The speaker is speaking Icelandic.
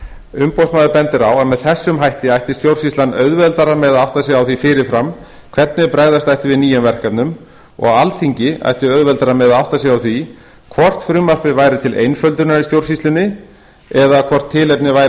umboðsmaður bendir á að með þessum hætti ætti stjórnsýslan auðveldara með að átta sig á því fyrirfram hvernig bregðast ætti við nýjum verkefnum og alþingi ætti auðveldara með að átta sig á því hvort frumvarpið væri til einföldunar í stjórnsýslunni eða hvort tilefni væri